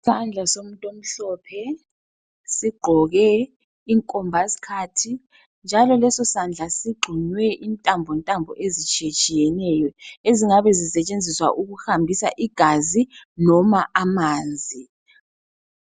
Isandla somuntu omhlophe sigqoke inkomba sikhathi, njalo leso sandla sigxunywe intambo ntambo ezitshiyetshiyeneyo ezingabe zisetshenziswa ukuhambisa igazi noma amanzi.